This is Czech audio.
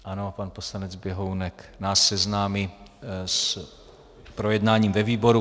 Ano, pan poslanec Běhounek nás seznámí s projednáním ve výboru.